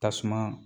Tasuma